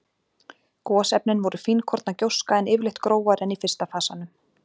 Gosefnin voru fínkorna gjóska, en yfirleitt grófari en í fyrsta fasanum.